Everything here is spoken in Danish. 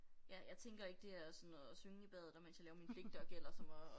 Ja jeg tænker ikke det er sådan noget synge i badet og mens jeg laver mine pligter gælder som at